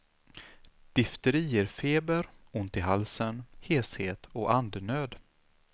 Difteri ger feber, ont i halsen, heshet och andnöd.